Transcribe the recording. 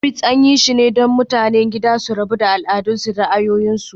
Tunbit, an yi shi ne don mutanen gida su raba al'adu da ra'ayoyinsu.